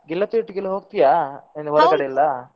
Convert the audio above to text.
ಗೆಳತಿ ಒಟ್ಟಿಗೆಲ್ಲ ಹೋಗ್ತಿಯ ಕಡೆ ಎಲ್ಲ.